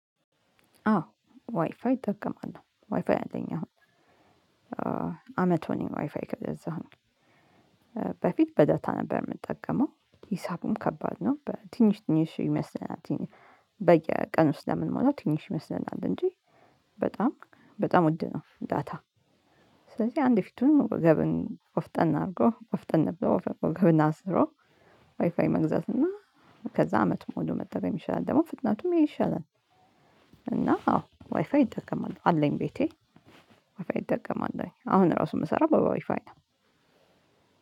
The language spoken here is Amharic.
አዎ ዋይፋይ እጠቀማለሁ ዋይፋይ አለኝ አሁን አመት ሆነኝ ዋይፋይ ከገዛሁኝ በፊት በዳታ ነበር የምጠቀመው ሂሳቡም ከባድ ነው ትንሽ ትንሽ ይመስለናል። በየቀኑ ስለምንሞላው ትንሽ ይመስለናል እንጂ በጣም በጣም ውድ ነው። ዳታ ስለዚሀ አንድ ፊቱን ቆፍጠን አርጎ ቆፍጠን ብሎ ወገብን አስሮ ዋይፋይ መግዛትና ከዛ አመት ሙሉ መጠቀም ይሻላል ደግሞ ፍጥነቱም ይሄ ይሻላል። እና ዋይፋይ እጠቀማለሁኝ አለኝ ቤቴ ዋይፋይ እጠቀማለሁኝ አሁን እራሱ የምሰራው በዋይፋይ ነው።